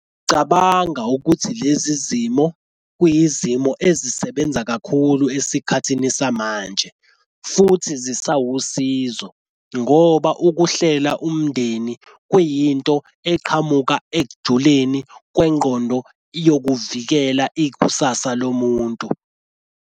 Cabanga ukuthi lezi zimo kwiyizimo ezisebenza kakhulu esikhathini samanje futhi zisawusizo ngoba ukuhlela umndeni kuyinto eqhamuka ekujuleni kwengqondo yokuvikela ikusasa lomuntu.